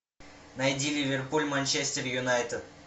найди ливерпуль манчестер юнайтед